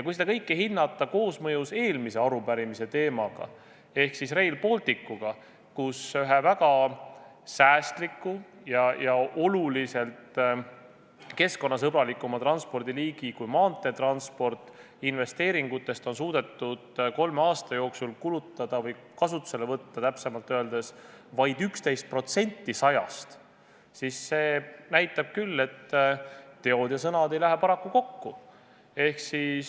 Kui seda kõike hinnata koosmõjus eelmise arupärimise teemaga ehk siis Rail Balticuga, mille puhul ühe väga säästliku ja maanteetranspordist oluliselt keskkonnasõbralikuma transpordiliigi investeeringutest on suudetud kolme aasta jooksul kulutada või täpsemalt öeldes kasutusele võtta vaid 11% 100%-st, siis see näitab küll, et teod ja sõnad ei lähe paraku kokku.